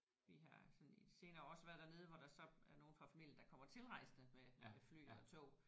Vi har sådan i de senere også været dernede hvor der så er nogen fra familien der kommer tilrejsende med med fly og tog